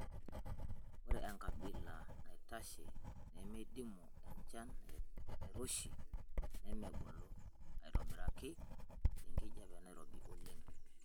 Ore enkabila naitashe nemeidimu enchan nairoshi, nemebulu aitobiraki tenkijiape nairobi oleng'.